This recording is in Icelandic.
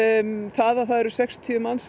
það að það eru sextíu manns